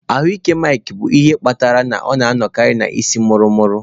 Ahụ ike Mike bụ ihe kpatara na ọ na-anọkarị na isii muru muru.